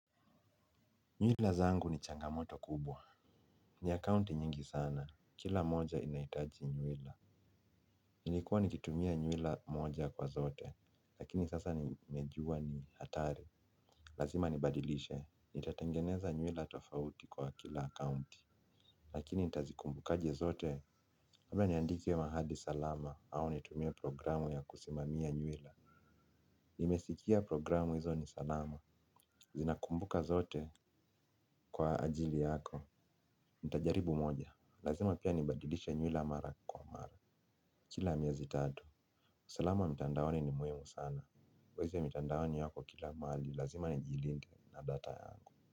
Nywila zangu ni changamoto kubwa. Ni akaunti nyingi sana. Kila moja inaitaji nywila. Nilikuwa nikitumia nywila moja kwa zote. Lakini sasa nimejua ni hatari. Lazima nibadilishe. Nitatengeneza nywila tofauti kwa kila account. Lakini ntazikumbukaje zote labda niandike mahali salama au nitumie programu ya kusimamia nywila. Nimesikia programu hizo ni salama. Zinakumbuka zote kwa ajili yako. Ntajaribu moja. Lazima pia nibadilishe nywila mara kwa mara. Kila miezi tatu usalama wa mitandaoni ni muhimu sana. Wezi mitandawoni yako kila mahali. Lazima nijilinde na data yangu.